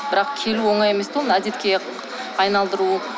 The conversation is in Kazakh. бірақ келу оңай емес те оны әдетке айналдыру